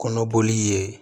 Kɔnɔboli ye